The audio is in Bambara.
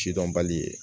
Sidɔnbali ye